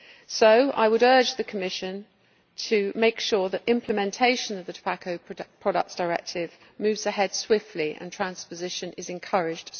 So I would urge the Commission to make sure that implementation of the Tobacco Products Directive moves ahead swiftly and that swift transposition is encouraged.